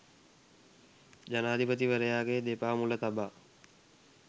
ජනාධිපතිවරයාගේ දෙපා මුල තබා